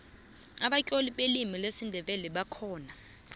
abatloli belimi lesindebele bakhona